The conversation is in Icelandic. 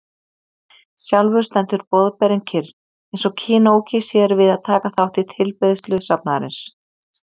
Sjálfur stendur Boðberinn kyrr, eins og kinoki sér við að taka þátt í tilbeiðslu safnaðarins.